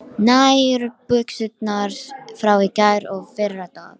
nokkuð sem virtist vera undantekning í Austurbæjarskóla.